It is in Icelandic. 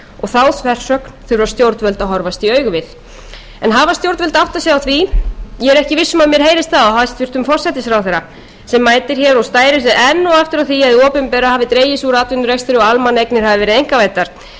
þá þversögn þurfa stjórnvöld að horfast í augu við hafa stjórnvöld áttað sig á því ég er ekki viss um að mér heyrist það á hæstvirtan forsætisráðherra sem mætir hér og stærir sig enn og aftur af því að hið opinbera hafi dregið sig úr atvinnurekstri og almannaeignir hafi verið einkavæddar